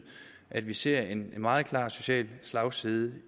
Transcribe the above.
at vi ser en meget klar social slagside